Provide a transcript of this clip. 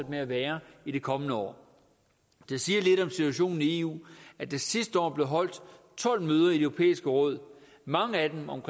med at være i det kommende år det siger lidt om situationen i eu at der sidste år blev holdt tolv møder i det europæiske råd mange af dem om